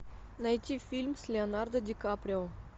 найти фильм с леонардо ди каприо